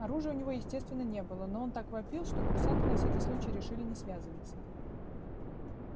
оружия у него естественно не было но он так вопил что курсанты на всякий случай решили не связываться